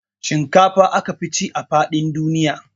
Shinkafa aka fi ci a faɗin duniya